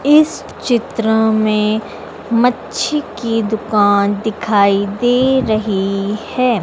इस चित्र में मच्छी की दुकान दिखाई दे रही है।